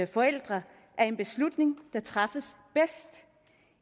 forældrene er en beslutning der træffes bedst